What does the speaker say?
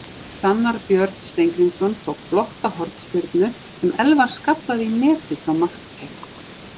Hrannar Björn Steingrímsson tók flotta hornspyrnu sem Elfar skallaði í netið frá markteig.